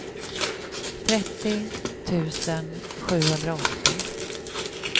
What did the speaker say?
trettio tusen sjuhundraåttio